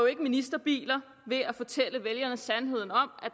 ikke ministerbiler ved at fortælle vælgerne sandheden om